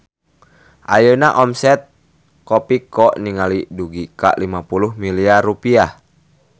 Ayeuna omset Kopiko ningkat dugi ka 50 miliar rupiah